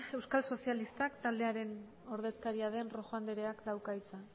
euskal sozialista taldearen ordezkaria den rojo andreak dauka hitza